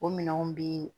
O minɛnw bi